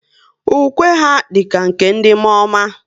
Ukwe ha dịka nke ndị mụọọma